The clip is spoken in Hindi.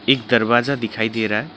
एक दरवाजा दिखाई दे रहा है।